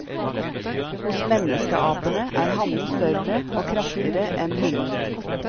Hos menneskeapene er hannen større og kraftigere enn hunnen.